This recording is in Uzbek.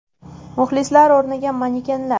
Muxlislar o‘rniga manekenlar.